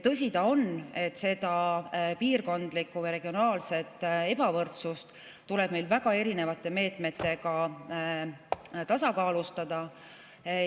Tõsi ta on, et seda piirkondlikku või regionaalset ebavõrdsust tuleb meil väga erinevate meetmetega tasakaalustada.